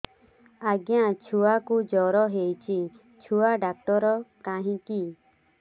ଆଜ୍ଞା ଛୁଆକୁ ଜର ହେଇଚି ଛୁଆ ଡାକ୍ତର କାହିଁ କି